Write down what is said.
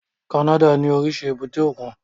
Canada ní oríṣiríṣi èbúté òkun